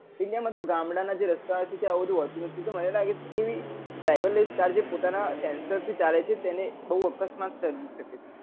india માં તો ગામડાના જે રસ્તા હોય છે ત્યાં આવું બધું કઈ હોતું નથી તો મને લાગે છે driver less car જે પોતાના sensor થી ચાલે છે તેને બહુ અકસ્માત સર્જી સકે છે